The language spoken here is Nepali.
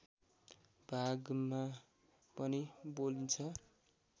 भागमा पनि बोलिन्छ